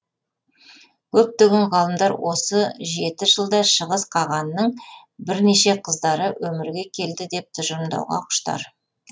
көптеген ғалымдар осы жеті жылда шығыс қағанның бір неше қыздары өмірге келді деп тұжырымдауға құштар